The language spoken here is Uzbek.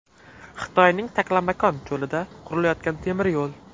Xitoyning Taklamakon cho‘lida qurilayotgan temiryo‘l.